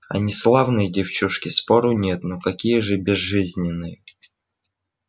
они славные девчушки спору нет но какие же безжизненные